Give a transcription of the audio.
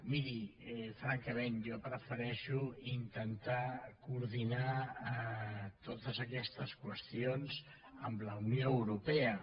miri francament jo prefereixo intentar coordinar totes aquestes qüestions amb la unió europea